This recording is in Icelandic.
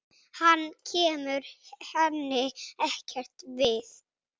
Hann kemur henni ekkert við.